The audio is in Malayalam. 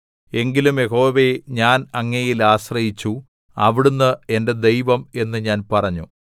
എങ്കിലും യഹോവേ ഞാൻ അങ്ങയിൽ ആശ്രയിച്ചു അവിടുന്ന് എന്റെ ദൈവം എന്ന് ഞാൻ പറഞ്ഞു